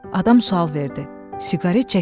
Adam sual verdi: Siqaret çəkirsən?